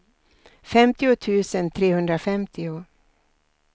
femtio tusen trehundrafemtio